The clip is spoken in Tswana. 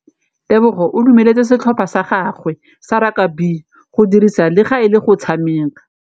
Tebogô o dumeletse setlhopha sa gagwe sa rakabi go dirisa le galê go tshameka.